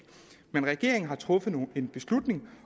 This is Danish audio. men regeringen har truffet en beslutning